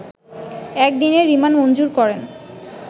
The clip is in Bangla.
এক দিনের রিমান্ড মঞ্জুর করেন